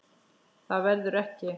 Það verður ekki.